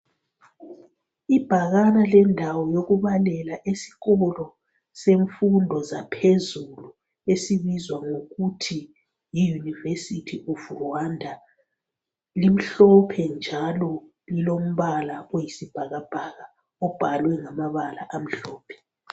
Ibhakane lendawo yokubalela esikolo semfundo zaphezulu esibizwa ngokuthi yi"University of Rwanda ".Limhlophe njalo lilombala oyisibhakabhaka obhalwe ngamabala amhlophe.